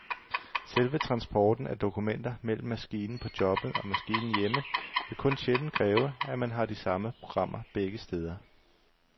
Selve transporten af dokumenter mellem maskinen på jobbet og maskinen hjemme vil kun sjældent kræve, at man har de samme programmer begge steder.